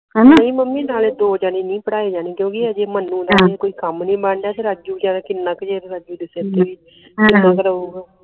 ਨਹੀਂ ਮਮੀ ਨਾਲੇ ਦੋ ਜਣੀ ਨਹੀਂ ਪੜ੍ਹਾਏ ਜਾਣੇ ਕਿਉਕਿ ਅਜੇ ਮੰਨੂ ਕੋਈ ਕਮ ਨਹੀਂ ਬਣ ਰਿਹਾ ਤੇ ਰਾਜੂ ਬੇਚਾਰਾ ਕਿੰਨਾ ਕਿ ਜੇਬ ਖਰਚ